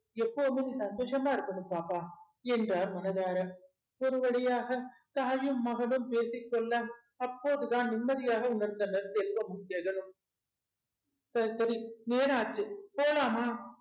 எப்போதுமே சந்தோஷமா இருக்கணும் பாப்பா என்றார் மனதார ஒருவழியாக தாயும் மகளும் பேசிக்கொள்ள அப்போதுதான் நிம்மதியாக உணர்ந்தனர் செல்வமும் ஜெகனும் சரிசரி நேராச்சு போலாமா